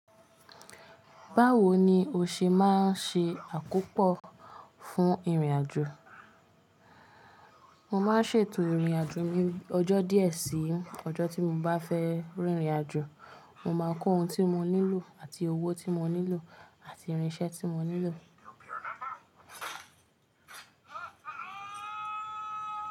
Báwo ni o ṣe máa ń ṣe àkópò fún ìrìnàjò? Mo máa ń ṣètò ìrìnàjò ní ọjọ́ díẹ̀ sí ọjọ́ tí mo bá fẹ́ rìnrìnàjò. Mo máa kó ohun tí mo nílò, àti owó tí mo nílò, àti irinṣẹ́ tí mo nílò.